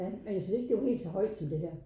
Ja men jeg synes ikke det var helt så højt som det her